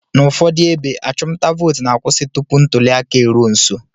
N'ụfọdụ ebe, achụmnta vootu na-akwụsị tupu ntụliaka eruo nso